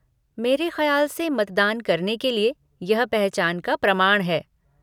मेरे खयाल से मतदान करने के लिए यह पहचान का प्रमाण है।